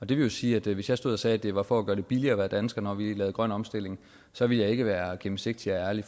det vil sige at hvis jeg stod og sagde at det var for at gøre det billigere at være dansker når vi lavede grøn omstilling så ville jeg ikke være gennemsigtig og ærlig